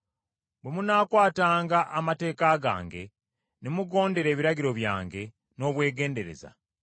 “Bwe munaakwatanga amateeka gange, ne mugondera ebiragiro byange n’obwegendereza,